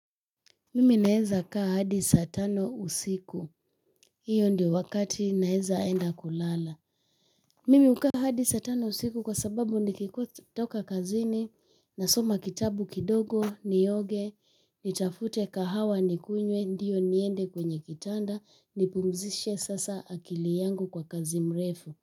Mimi naeza kaa hadi saa tano usiku, hiyo ndio wakati naeza enda kulala. Mimi hukaa hadi saa tano usiku sababu nikitoka kazini huwa nasoma kitabu kidogo, nioge, nitafute kahawa kidogo nikunywe, niende kwenye kitanda nipumzishe sasa akili yangu kwa kazi mrefu.